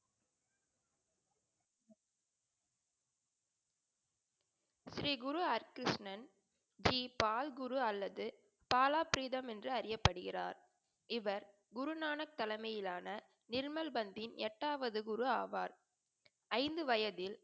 ஸ்ரீ குரு ஹரி கிருஷ்ணன் ஸ்ரீ பால் குரு அல்லது பாலப்ரிடம் என்று அறியபடுகிறார். இவர் குருநான தலைமையில் ஆன நிர்மல் பதின் எட்டாவது குரு ஆவர். ஐந்து வயதில்